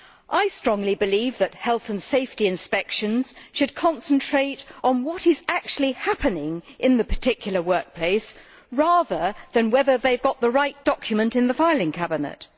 I strongly believe that health and safety inspections should concentrate on what is actually happening in the particular workplace, rather than on whether they have got the right document in the filing cabinet.